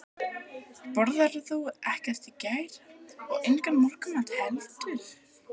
Borðaðirðu ekkert í gær og engan morgunmat heldur?